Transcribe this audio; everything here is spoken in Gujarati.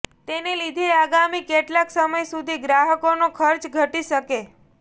તેને લીધે આગામી કેટલાક સમય સુધી ગ્રાહકોનો ખર્ચ ઘટી શકે